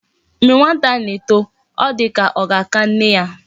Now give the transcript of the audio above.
Mgbe nwata na eto o di ka oga aka nne ya